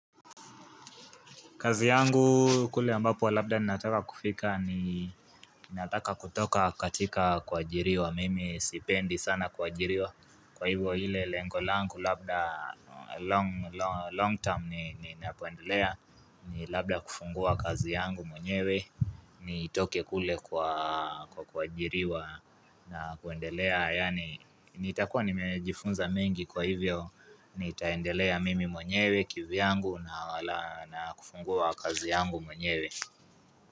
Kazi yangu kule ambapo labda ninataka kufika ni nataka kutoka katika kuajiriwa mimi sipendi sana kuajiriwa kwa hivyo ile lengo langu labda long term ni napoendelea ni labda kufungua kazi yangu mwenyewe nitoke kule kwa kwa kuajiriwa na kuendelea yani nitakua nimejifunza mengi kwa hivyo ni taendelea mimi mwenyewe kivyangu na kufungua kazi yangu mwenyewe.